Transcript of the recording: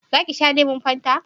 za ki sha lemun fanta?